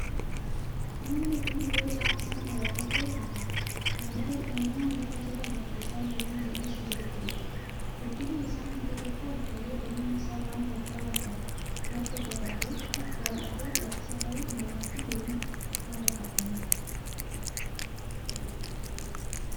Muki kun yoo caamsaan dheeratelee hin gogu. Kana malee uumamaan lafa jala bakka bishaan ykn jiidhinsi jirutti biqila. Guddinni isaa hanga tokko ol ka’ee dameen isaa waan wagga waggaan dalga dagaaguuf bal’adhatee gaddisa ta’uun namaa fi loonii madda qabbanaati.